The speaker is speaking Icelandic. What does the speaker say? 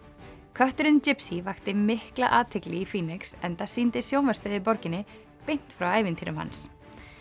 kötturinn vakti mikla athygli í enda sýndi sjónvarpsstöð í borginni beint frá ævintýrum hans